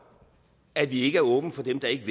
at vi ikke er åbne for dem der ikke